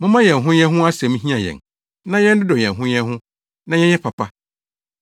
Momma yɛn ho yɛn ho asɛm nhia yɛn na yɛnnodɔ yɛn ho yɛn ho na yɛnyɛ papa.